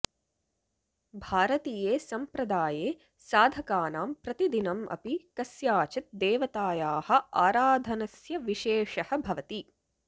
भारतीये सम्प्रदाये साधकानां प्रतिदिनम् अपि कस्याचित् देवतायाः आराधनस्य विशेषः भवति